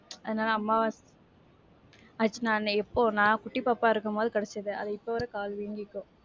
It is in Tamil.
என்னால அம்மாவ actual ஆ நான் எப்போ, நான் குட்டி பாப்பாவா இருக்கும்போது கடிச்சிது. அது இப்போ வரைக்கும் கால் வீங்கி இருக்கு.